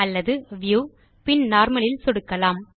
அல்லது வியூ பின் நார்மல் இல் சொடுக்கலாம்